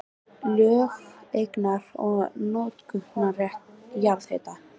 Lög um eignar- og notkunarrétt jarðhita.